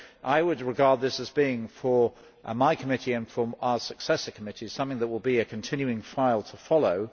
So I would regard this as being, for my committee and for our successor committees, something that will be a continuing file to follow.